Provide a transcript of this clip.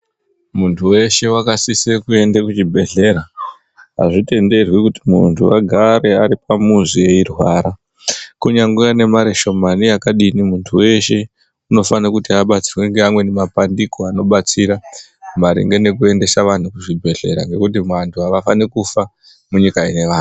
Mundu weshe wakasisira kuenda kuchibhedhlera, azvitenderwi kuti mundu agare aripamuzi eirwara, kunyangwe anemarishomani yakadini, mundu weshe unofanira kuti abatsirwe nemabandiko anobetsera maringe nekuendesa wanhu kuzvibhedhlera ngekuti wanhu awafani kufa kunyika yewanhu.